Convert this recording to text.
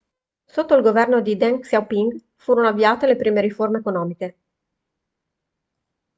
sotto il governo di deng xiaoping furono avviate le prime riforme economiche